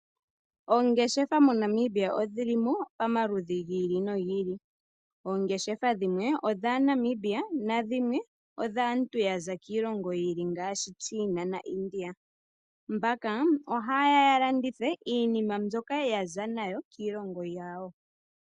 Oongeshefa moNamibia odhi li mo pamaludhi gi ili nogi ili. Oongeshefa dhimwe odhaaNamibia nadhimwe odhaantu ya za kiilongo yi ili ngaashi China na India. Mbaka oha ye ya ya landithe iinima mbyoka ya za nayo kiilongo yawo.